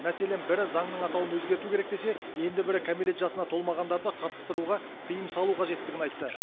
мәселен бірі заңның атауын өзгерту керек десе енді бірі кәмелет жасына толмағандарды қатыстыруға тиым салу қажеттігін айтты